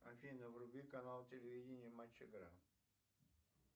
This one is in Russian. афина вруби канал телевидения матч игра